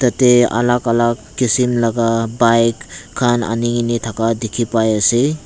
yetey alak alak kisim laga bike khan ani kena thaka dikhi pai ase.